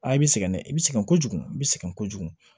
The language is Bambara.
Aa i bɛ sɛgɛn dɛ i bɛ sɛgɛn kojugu i bɛ sɛgɛn kojugu